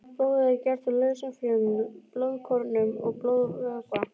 Blóðið er gert úr lausum frumum, blóðkornum og blóðvökva.